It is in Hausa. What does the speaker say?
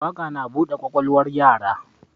Waƙa na bude kwakwalwar yara